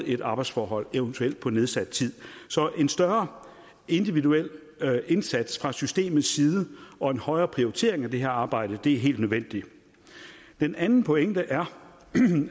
et arbejdsforhold eventuelt på nedsat tid så en større individuel indsats fra systemets side og en højere prioritering af det her arbejde er helt nødvendigt den anden pointe er